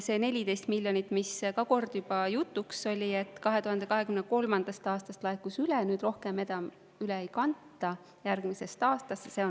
See 14 miljonit, nagu ka kord juba jutuks oli, laekus 2023. aastast, kanti üle, aga rohkem enam järgmisest aastast üle ei kanta.